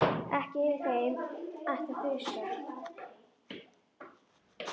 Ekki yfir þeim sem ætti að þusa.